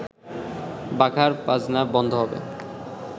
বাঘার বাজনা বন্ধ হবে